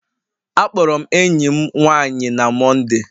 Akpọrọ m enyi m nwanyị na Mọnde